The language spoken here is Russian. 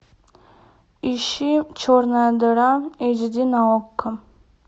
ищи черная дыра эйч ди на окко